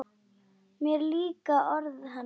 Mér líka orð hennar illa: